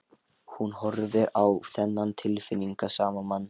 Hún horfir á þennan tilfinningasama mann.